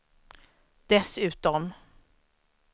dessutom